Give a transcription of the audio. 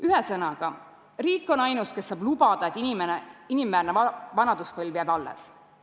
Ühesõnaga, riik on ainus, kes saab lubada, et inimväärne vanaduspõlv jääb ka edaspidi.